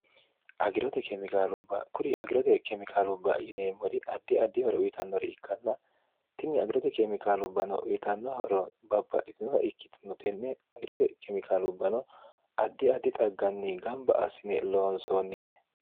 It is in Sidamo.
agirote kemikaalubba kuri agirote kemikaalubba yineemmori addi addihore uyitannore ikkanna tinni agirote keemikaalubbano uyitannohoro babbadhitinota ikkitinotenne agirote keemikaalubbano addi addi xagganni gamba asine loonsoonnite